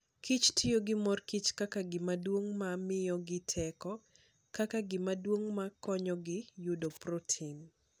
Kich tiyo gi mor kich kaka gima duong' ma miyogi teko, kaka gima duong' ma konyogi yudo protein.